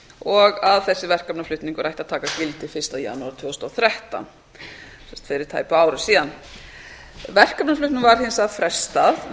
og að þessi verkefnaflutningur ætti að taka gildi fyrsta janúar tvö þúsund og þrettán sem sagt fyrir tæpu ári síðan verkefnaflutningnum var hins vegar frestað